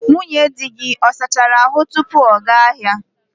Nwunye di gị ọ sachara ahu tupu ọ gaa ahịa?